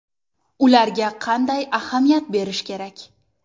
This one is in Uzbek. Ularga qanday ahamiyat berish kerak?